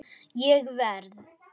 Ég verð.